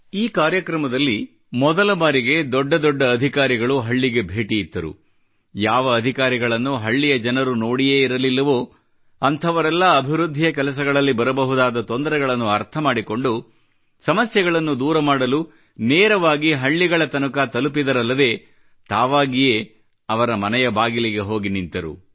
ಈ ಕಾರ್ಯಕ್ರಮದಲ್ಲಿ ಮೊದಲ ಬಾರಿಗೆ ದೊಡ್ಡ ದೊಡ್ಡ ಅಧಿಕಾರಿಗಳು ಹಳ್ಳಿಗಳಿಗೆ ಭೇಟಿ ಇತ್ತರು ಯಾವ ಅಧಿಕಾರಿಗಳನ್ನು ಹಳ್ಳಿಯ ಜನರು ನೋಡಿಯೇ ಇರಲಿಲ್ಲವೋ ಅಂಥವರೆಲ್ಲ ಅಭಿವೃದ್ಧಿಯ ಕೆಲಸಗಳಲ್ಲಿ ಬರಬಹುದಾದ ತೊಂದರೆಗಳನ್ನು ಅರ್ಥ ಮಾಡಿಕೊಂಡು ಸಮಸ್ಯೆಗಳನ್ನು ದೂರ ಮಾಡಲು ನೇರವಾಗಿ ಹಳ್ಳಿಗಳ ತನಕ ತಲುಪಿದರಲ್ಲದೆ ತಾವಾಗಿಯೇ ಹೋಗಿ ಅವರ ಮನೆಯ ಬಾಗಿಲಿಗೆ ಬಂದು ನಿಂತರು